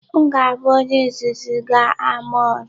M ga-abụ onye izizi ga-ama ọrụ.